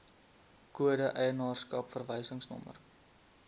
kode eienaarskap verwysingsnommer